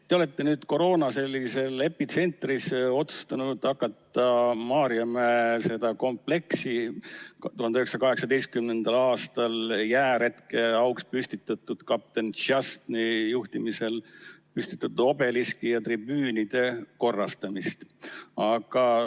Te olete nüüd koroona epitsentris otsustanud hakata Maarjamäe kompleksi, 1918. aastal korraldatud jääretke auks, mis toimus kapten Štšastnõi juhtimisel, püstitatud obeliski ja tribüüne korrastama.